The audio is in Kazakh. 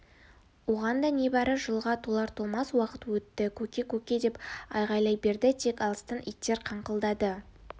оған да небары жылға толар-толмас уақыт өтті көке көке деп айғайлай берді тек алыстан иттер қаңқылдады